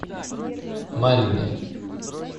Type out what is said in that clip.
марьиной